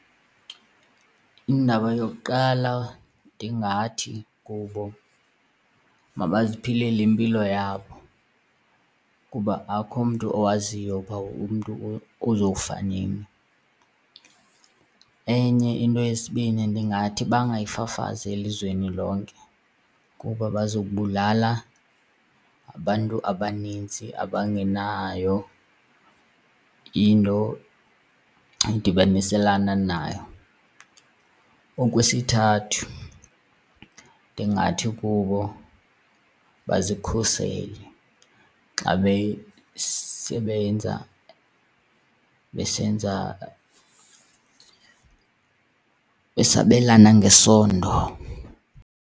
Indaba yokuqala ndingathi kubo mabaziphilele impilo yabo kuba akho mntu owaziyo uba umntu uzofa nini. Enye into yesibini ndingathi bangayifafazi elizweni lonke kuba bazobulala abantu abanintsi abangenayo into edibaniselana nayo. Okwesithathu ndingathi kubo bazikhusele xa besebenza besenza besabelana ngesondo.